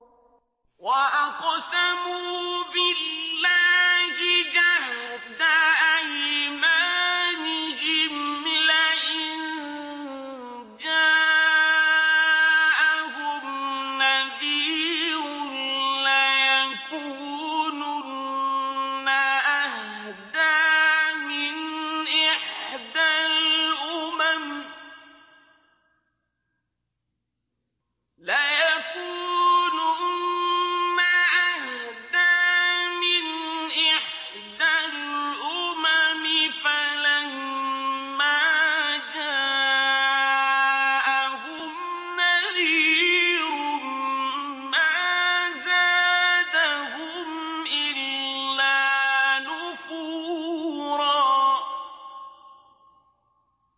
وَأَقْسَمُوا بِاللَّهِ جَهْدَ أَيْمَانِهِمْ لَئِن جَاءَهُمْ نَذِيرٌ لَّيَكُونُنَّ أَهْدَىٰ مِنْ إِحْدَى الْأُمَمِ ۖ فَلَمَّا جَاءَهُمْ نَذِيرٌ مَّا زَادَهُمْ إِلَّا نُفُورًا